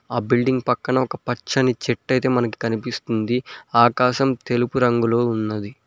ఆ బిడ్లింగ్ పక్కన ఒక పచ్చని చెట్టు ఐతే మనకు కనిపిస్తుంది ఆకాశం తెలుపు రంగులో ఉన్నది.